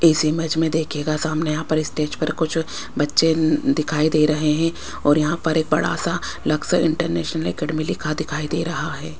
इस इमेज में देखिएगा सामने यहां पर स्टेज पर कुछ बच्चे ऊं दिखाई दे रहे हैं और यहां पर एक बड़ा सा लक्ष्य इंटरनेशनल अकैडमी लिखा दिखाई दे रहा है।